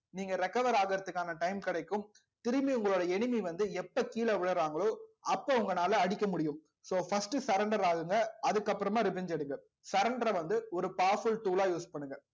நீங்க recover ஆகுறதுக்கான time கிடைக்கும் திரும்பி உங்களோட enemy வந்து எப்ப கீழே விழுறாங்களோ அப்போ உங்களால அடிக்க முடியும் so first surrender ஆகுங்க அதுக்கப்புறமா revenge எடுங்க surrender அ வந்து ஒரு powerful tool ஆ use பண்ணுங்க